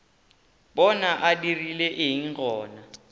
bona a dirile eng gona